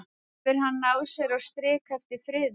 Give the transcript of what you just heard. Hefur hann náð sér á strik eftir friðun?